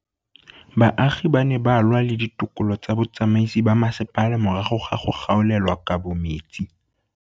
Baagi ba ne ba lwa le ditokolo tsa botsamaisi ba mmasepala morago ga go gaolelwa kabo metsi.